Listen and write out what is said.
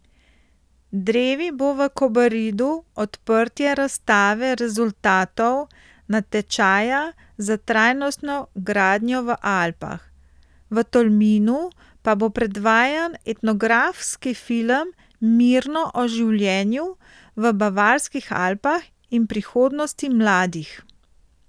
Drevi bo v Kobaridu odprtje razstave rezultatov natečaja za trajnostno gradnjo v Alpah, v Tolminu pa bo predvajan etnografski film Mirno o življenju v bavarskih Alpah in prihodnosti mladih.